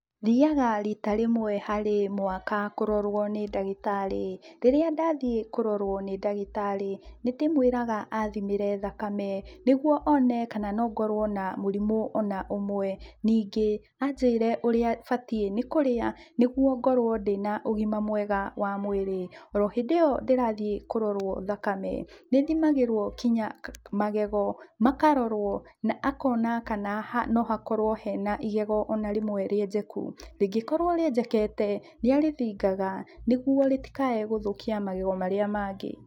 Thiyaga rita rĩmwe harĩ mwaka kũrorwo nĩ ndagĩtarĩ. Rĩrĩa ndathiĩ kũrorwo nĩ ndagĩtarĩ nĩ ndĩmwĩraga athimĩre thakame niguo One kana no ngorwo na mũrimũ ona ũmwe. Ningĩ anjĩre ũrĩa batiĩ nĩ kũrĩa niguo ngorwo ndĩna ũgima mwega wa mwĩrĩ. Ũrohĩndĩ ĩyo ndirathiĩ kũrorwo thakame nĩ thimagĩrwo nginya magego makarorwo na akona kana no hakorwo hena igegũ ona rĩmwe rĩenjeku. Rĩngĩ korwo rĩenjekete nĩ arĩthingaga nĩguo rĩtikae gũthũkia magego marĩa mangĩ.